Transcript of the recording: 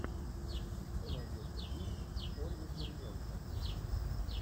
что найдется из с ольгой куриленко